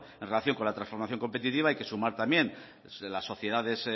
en relación con la transformación competitiva hay que sumar también las sociedades